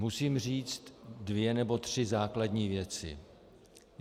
Musím říct dvě nebo tři základní věci.